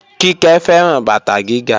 Kíkẹ́ fẹ́ràn bàtà gíga